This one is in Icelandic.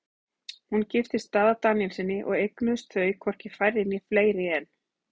Hún giftist Daða Daníelssyni og eignuðust þau hvorki færri né fleiri en